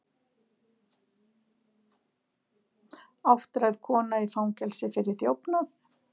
Áttræð kona í fangelsi fyrir þjófnað